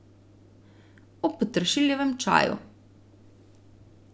O peteršiljevem čaju.